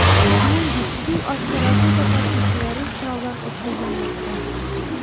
Shuningdek, suv osti raketa tashuvchilari sinovdan o‘tkazilmoqda.